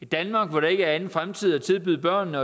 danmark hvor der ikke er anden fremtid at tilbyde børnene